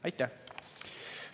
Aitäh!